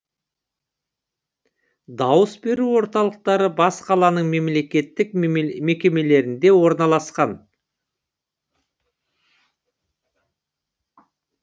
дауыс беру орталықтары бас қаланың мемлекеттік мекемелерінде орналасқан